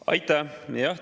Aitäh!